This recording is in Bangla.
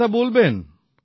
কে কথা বলবেন